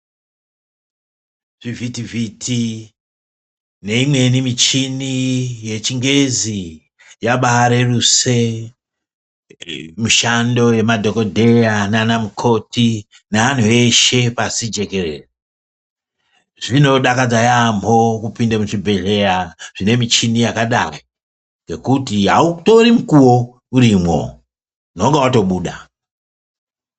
Zvivhiti zviti neimweni michini yechingezi yabaareruse mushando yemadhokodheya nana mukoti neanhu eshe pashi jekerere zvinodakadza yaamho kupinde muchibhedhleya zvine muchini yakadaro nekuti autori mukuwo urimwo unenga watobuda.